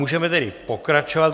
Můžeme tedy pokračovat.